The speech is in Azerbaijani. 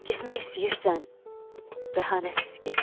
Getmək istəyirsən, bəhanəsiz get.